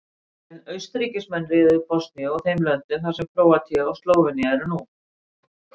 En Austurríkismenn réðu Bosníu og þeim löndum þar sem Króatía og Slóvenía eru nú.